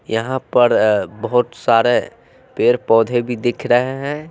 यहां पर अ बहुत सारे पेड़ पौधे भी दिख रहे हैं।